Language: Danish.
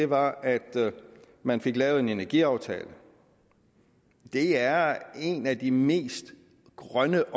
var at man fik lavet en energiaftale det er en af de mest grønne